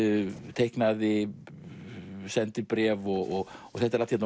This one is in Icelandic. teiknaði sendibréf og þetta er allt hérna